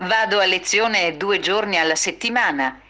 аа